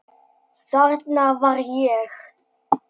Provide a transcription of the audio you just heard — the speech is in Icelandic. Þarna var ég.